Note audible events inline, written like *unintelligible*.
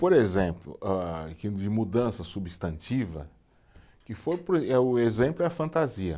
Por exemplo, ah de mudança substantiva, que foi *unintelligible* eh, o exemplo é a fantasia.